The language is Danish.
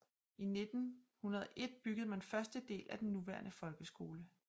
I 1901 byggede man første del af den nuværende folkeskole